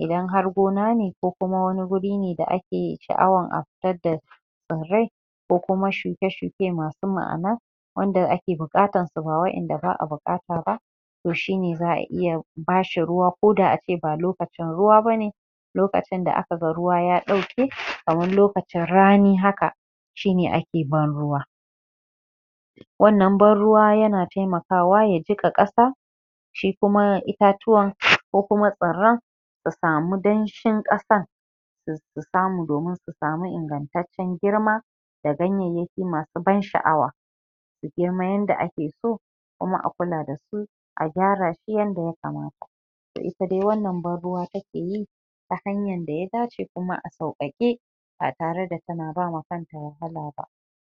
idan har gona ne ko kuma wani wuri ne da ake sha'awan a fitar da tsirrai ko kuma shuke-shuke masu ma'ana wanda ake buƙatan su da waɗanda ba'a buƙuta ba to shi ne za'a iya bashi ruwa ko da a ce ba lokacin ruwa bane lokacin da aka ga ruwa ya ɗauke kamar lokacin rani haka shi ne ake ban ruwa wannan ban ruwa ya na taimakawa ya jiƙa ƙasa shi kuma itatuwan kokuma tsirran ta samu danshin ƙasan ta samu domin ta samu ingataccen girma da ganyanyaki masu ban sha'awa kamar yanda ake so kuma a kula da su a gyara su yanda ya kamata to ita dai wannan ban ruwa take yi ta hanyar da ya dace kuma a sauƙaƙe ba tare tana ba kan ta wahala ba